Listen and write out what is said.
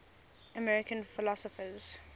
american philosophers